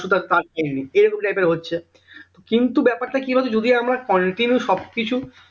পরশু তার কাজ এরাম type এর হচ্ছে কিন্তু ব্যাপারটা কি হতো যদি আমরা continue সব কিছু